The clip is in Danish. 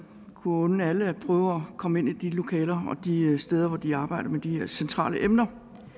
kunne unde alle at prøve at komme ind i de lokaler og de steder hvor de arbejder med de her centrale emner